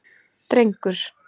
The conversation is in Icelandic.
Drengur